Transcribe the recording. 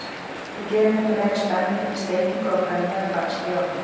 Við gerum þetta meira spennandi með steikingu á pönnu eða bakstri í ofni.